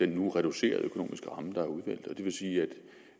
nu reducerede økonomiske ramme der er udmeldt og det vil sige at